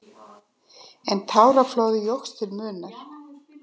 En táraflóðið jókst til muna.